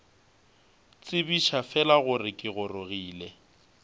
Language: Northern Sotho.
tsebiša fela gore ke gorogile